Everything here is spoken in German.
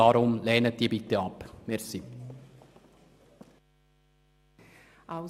Bitte lehnen Sie deshalb die Motion ab.